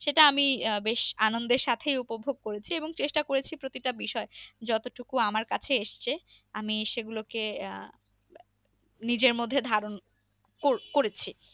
সেটা আমি আহ বেশ আনন্দের সাথে উপভোগ করেছি এবং চেষ্টা করেছি প্রতিটা বিষয়। যতটুকু আমার কাছে এসেছে আমি সেগুলো কে আহ নিজের মধ্যে ধারণ ক~করেছি।